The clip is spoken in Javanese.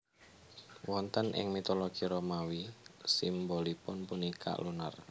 Wonten ing mitologi Romawi simbolipun punika Lunar